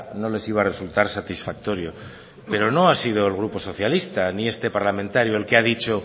no les iba a resultar satisfactorio pero no ha sido el grupo socialista ni este parlamentario el que ha dicho